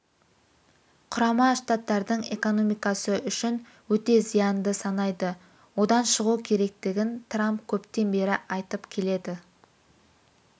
құрама штаттардың экономикасы үшін өте зиянды санайды одан шығу керектігін трамп көптен бері айтып келеді